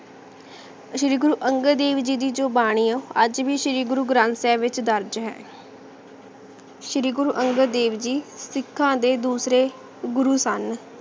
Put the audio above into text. ਸ਼੍ਰੀ ਗੁਰੂ ਅੰਗਦ ਦੇਵ ਜੀ ਦੀ ਜੋ ਬਾਨੀ ਆ ਆਜ ਵੀ ਸ਼੍ਰੀ ਗੁਰੂ ਗਰੰਥ ਸਾਹਿਬ ਵਿਚ ਦਰਜ ਹੈ ਸ਼੍ਰੀ ਗੁਰੂ ਅੰਗਦ ਦੇਵ ਜੀ ਸਿਖਾਂ ਦੇ ਦੂਸਰੇ ਗੁਰੂ ਸਨ